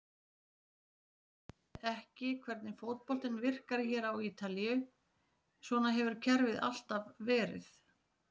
Ég uppgötvaði ekki hvernig fótboltinn virkar hér á Ítalíu, svona hefur kerfið alltaf verið.